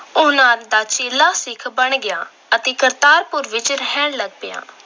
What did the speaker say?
ਉਹਨਾਂ ਦਾ ਚੇਲਾ ਸਿੱਖ ਬਣ ਗਿਆ ਅਤੇ ਕਰਤਾਰਪੁਰ ਵਿੱਚ ਰਹਿਣ ਲੱਗ ਪਿਆ।